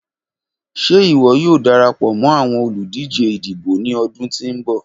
Ṣe iwọ yoo darapọ mọ awọn oludije idibo ni ọdun ti n bọ?